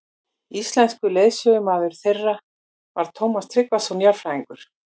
Íslenskur leiðsögumaður þeirra var Tómas Tryggvason jarðfræðingur.